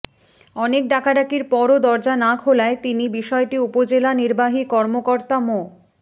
অনেক ডাকাডাকির পরও দরজা না খোলায় তিনি বিষয়টি উপজেলা নির্বাহী কর্মকর্তা মো